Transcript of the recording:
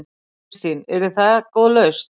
Kristín: Yrði það góð lausn?